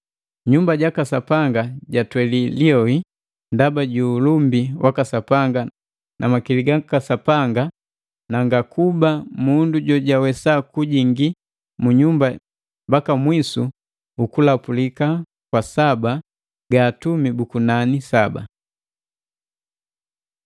Nyumba jaka Sapanga jatweli liyoi ndaba ju ulumbi waka Sapanga na makili gaka Sapanga na ngakuba mundu jojawesa kujingi mu nyumba mbaka mwisu ukulapulika kwa saba ga Atumi bu kunani saba.